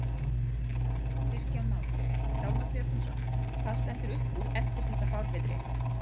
Kristján Már: Hjálmar Björgvinsson, hvað stendur upp úr eftir þetta fárviðri?